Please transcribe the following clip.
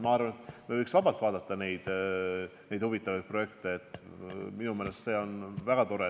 Ma arvan, et me võiks vabalt vaadata neid huvitavaid projekte, minu meelest see on väga tore.